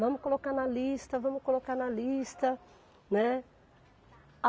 Vamos colocar na lista, vamos colocar na lista, né.